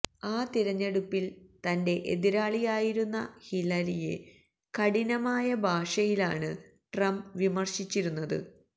ആ തിരഞ്ഞെടുപ്പില് തന്റെ എതിരാളിയായിരുന്ന ഹിലരിയെ കഠിനമായ ഭാഷയിലാണ് ട്രംപ് വിമര്ശിച്ചിരുന്നത്